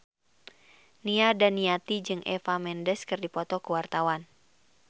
Nia Daniati jeung Eva Mendes keur dipoto ku wartawan